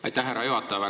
Aitäh, härra juhataja!